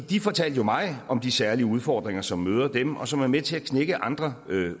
de fortalte jo mig om de særlige udfordringer som møder dem og som er med til at knække andre